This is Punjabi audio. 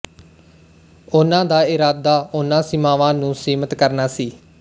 ਉਹਨਾਂ ਦਾ ਇਰਾਦਾ ਉਨ੍ਹਾਂ ਸੀਮਾਵਾਂ ਨੂੰ ਸੀਮਤ ਕਰਨਾ ਸੀ